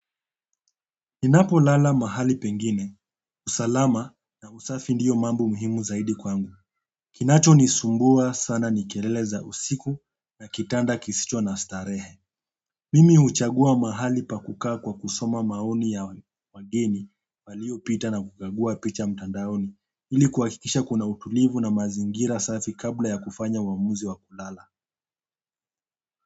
Ninapo lala mahali pengine, usalama na usafi ndiyo mambo muhimu zaidi kwangu. Kinacho ni sumbua sana ni kelele za usiku na kitanda kisicho na starehe. Mimi huchagua mahali pa kukaa kwa kusoma maoni ya wageni walio pita na kugagua picha mtandaoni. Ili kuhakikisha kuna utulivu na mazingira safi kabla ya kufanya uamuzi wa kulala.